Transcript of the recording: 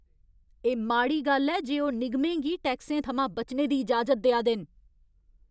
एह् माड़ी गल्ल ऐ जे ओह् निगमें गी टैक्सें थमां बचने दी इजाजत देआ दे न।